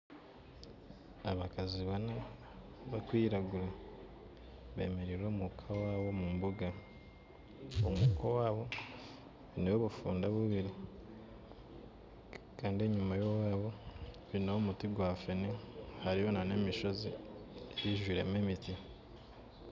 Abakazi bana bakwiragura bemeriire omu ka owaabo omu mbuga, omu ka owabo n'obufunda bubiri kandi enyuma y'owabo twine omuti gwa fene hariyo na n'emishozi ijwiremu emiti